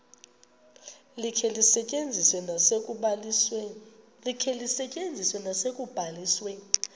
likhe lisetyenziswe nasekubalisweni